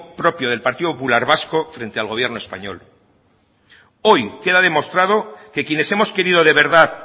propio del partido popular vasco frente al gobierno español hoy queda demostrado que quienes hemos querido de verdad